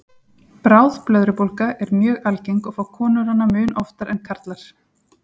Bráð blöðrubólga er mjög algeng og fá konur hana mun oftar en karlar.